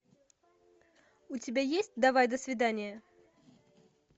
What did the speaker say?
у тебя есть давай до свидания